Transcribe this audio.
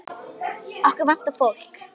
Okkur vantar fólk.